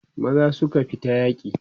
maza suka fita yaki